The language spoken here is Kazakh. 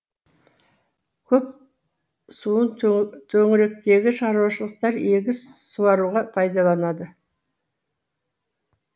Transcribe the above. көл суын төңіректегі шаруашылықтар егіс суаруға пайдаланады